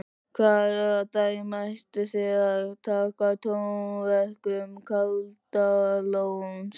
Hvaða dæmi ætlið þið að taka af tónverkum Kaldalóns?